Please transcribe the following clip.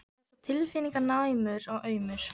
Hann er svo tilfinninganæmur og aumur.